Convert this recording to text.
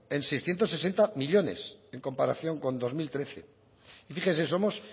en seiscientos sesenta millónes en comparación con dos mil trece y fíjese somos